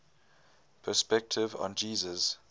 perspectives on jesus